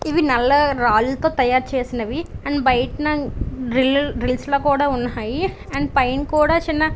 ఇవి నల్ల రాళ్లతో తయారు చేసినవి ఇవి అండ్ బయట న గ్రిల్ గ్రిల్ల్స్ లా ఉన్నాయి అండ్ పైన కూడా చిన్న --